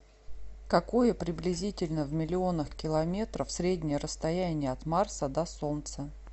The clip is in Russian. какое приблизительно в миллионах км среднее расстояние от марса до солнца